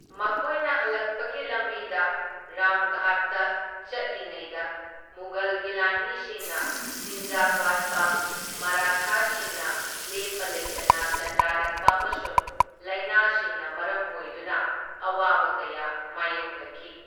ꯃꯈꯣꯏꯅ ꯍꯜꯂꯛꯄꯒꯤ ꯂꯝꯕꯤꯗ ꯔꯥꯝꯘꯥꯠꯇ ꯆꯠꯂꯤꯉꯩꯗ ꯃꯨꯒꯜꯒꯤ ꯂꯥꯟꯃꯤꯁꯤꯡꯅ ꯆꯤꯟꯖꯥꯛ ꯋꯥꯠꯄ, ꯃꯔꯥꯊꯥꯁꯤꯡꯅ ꯂꯦꯞꯄ ꯂꯩꯇꯅ ꯂꯥꯟꯗꯥꯔꯛꯄ ꯑꯃꯁꯨꯡ ꯂꯥꯏꯅꯥꯁꯤꯡꯅ ꯃꯔꯝ ꯑꯣꯏꯗꯨꯅ ꯑꯋꯥꯕ ꯀꯌꯥ ꯃꯥꯢꯌꯣꯛꯅꯈꯤ꯫